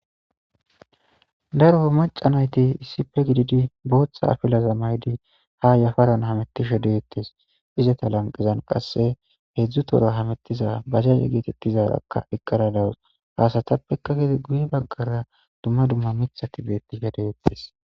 Darro macca nayththi issippe gidid bootha afflaza mayyidi ha yaffaran hemettishe dethess. Izzatha lanqezan qasse hezzu tohora hemethiza bajaje gethethizzarakka eqara dawuss. Ha assathapekka gede guyye baggara dumma dumma miiththathi bethishe dethess.